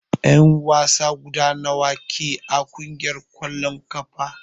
En wasa guda nawa ke a kungiyar kwalln kafa?